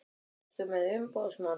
Ertu með umboðsmann?